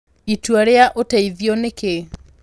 Itua rĩa Ũteithio nĩ Kĩĩ?